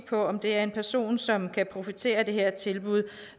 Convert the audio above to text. på om det er en person som kan profitere af det her tilbud